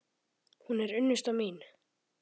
Hún er unnusta mín!